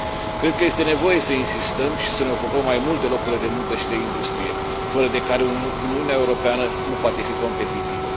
Cred că este nevoie să insistăm și să ne ocupăm mai mult de locurile de muncă și de industrie, fără de care Uniunea Europeană nu poate fi competitivă.